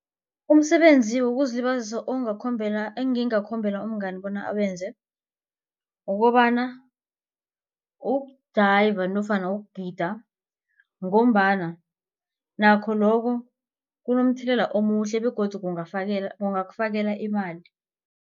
Umsebenzi wokuzilibazisa engingakhombela umngani bona awenze kukobana ukujayiva nofana ukugida ngombana nakho loko kunomthelela omuhle begodu kungakufakela imali.